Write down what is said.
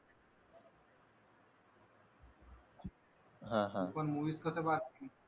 तू पण मूवीज कसं पाहता